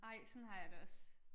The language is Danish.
Nej sådan har jeg det også